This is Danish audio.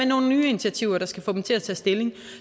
nogle nye initiativer der skal få dem til at tage stilling